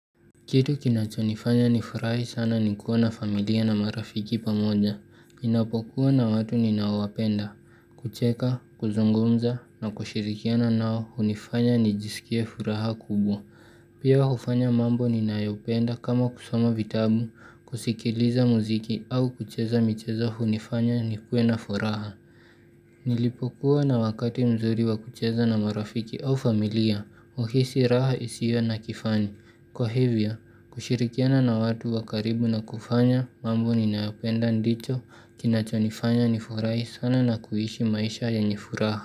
Kitu kinachonifanya ni furahi sana nikuwa na familia na marafiki pamoja, ninapokuwa na watu ninaowapenda, kucheka, kuzungumza, na kushirikiana nao, hunifanya nijisikie furaha kubwa. Pia hufanya mambo ni nayopenda kama kusoma vitabu, kusikiliza muziki au kucheza michezo hunifanya nikue na furaha. Nilipokuwa na wakati mzuri wakucheza na marafiki au familia, huhisi raha isio na kifani. Kwa hivyo, kushirikiana na watu wakaribu na kufanya mambo ninayopenda ndicho kinacho nifanya ni furahi sana na kuishi maisha yenye furaha.